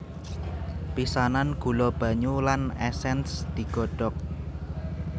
Pisanan gula banyu lan esens digodhok